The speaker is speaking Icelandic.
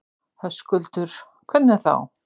Höskuldur: Hvernig þá?